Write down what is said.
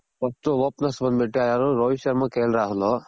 first opens ಬಂದ್ ಬಿಟ್ಟು ಯಾರು ರೋಹಿತ್ ಶರ್ಮ ಕಿರಣ್ ರಾಹುಲ್